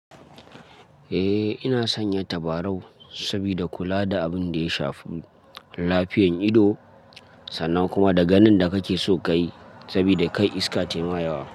Eh, ina sanya tabarau sabida kula da abin da ya shafi lafiyan ido sannan kuma da ganin da kake so kayi sabida kar iska tayi ma yawa.